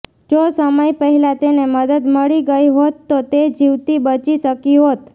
જો સમય પહેલાં તેને મદદ મળી ગઈ હોત તો તે જીવતી બચી શકી હોત